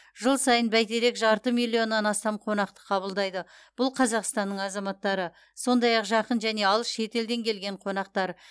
жыл сайын бәйтерек жарты миллионнан астам қонақты қабылдайды бұл қазақстанның азаматтары сондай ақ жақын және алыс шетелден келген қонақтар